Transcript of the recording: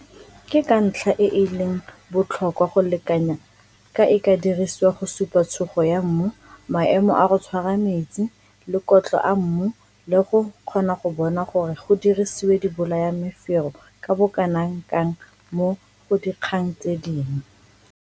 Ke ntlha e e leng botlhokwa go lekanya ka e ka dirisiwa go supa tshugo ya mmu, maemo a go tshwara metsi le kotlo a mmu le go kgona go bona gore go dirisiwe dibolayamefero ka bokana kang mo go dikgang tse dingwe.